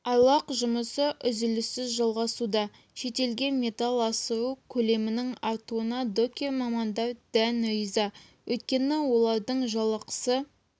айлақ жұмысы үзіліссіз жалғасуда шетелге металл асыру көлемінің артуына докер-мамандар дән риза өйткені олардың жалақысы